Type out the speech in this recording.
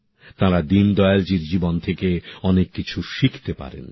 তারা দীনদয়ালজীর জীবন থেকে অনেক কিছু শিখতে পারেন